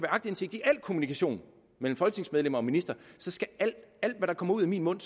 aktindsigt i al kommunikation mellem folketingsmedlemmer og ministre så skal alt hvad der kommer ud af min mund